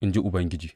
in ji Ubangiji.